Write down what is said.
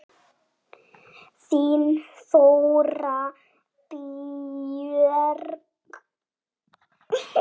Þín Þóra Björk.